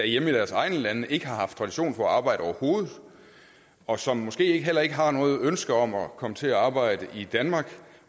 i deres egne lande ikke har haft tradition for at arbejde overhovedet og som måske heller ikke har noget ønske om at komme til at arbejde i danmark